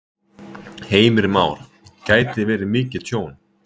Heimir Már: Gæti verið mikið tjón?